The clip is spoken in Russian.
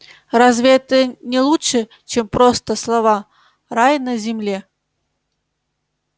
разве это не лучше чем просто слова рай на земле